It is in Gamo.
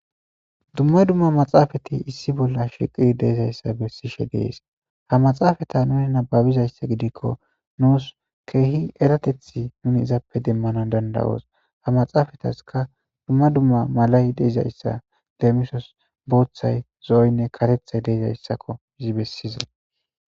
dumma dumma maxaafati issi bolla shiqi deizayssa bessishe dees ha maxaafata nuni nababizayssa gidikko nuus keehi eratethi nuni izappe demmana dandawoos ha maxaafataska dumma dumma malay deizayssa leemisos booththay zo7oynne katethay deizayssakko izi bessizay